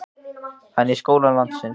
En í skólum landsins?